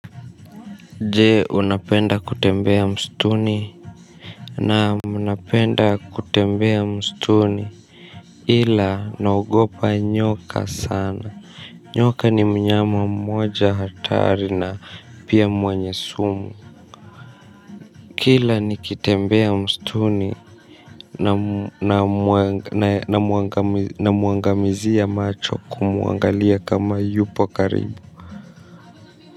Je unapenda kutembea msituni? Naam napenda kutembea msituni ila naogopa nyoka sana nyoka ni mnyama mmoja hatari na pia mwenye sumu kila nikitembea msituni namuangamizia macho kumuangalia kama yupo karibu.